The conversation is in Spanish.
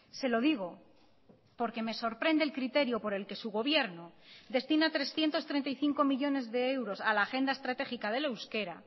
se lo digo porque me sorprende el criterio por el que su gobierno destina trescientos treinta y cinco millónes de euros a la agenda estratégica del euskera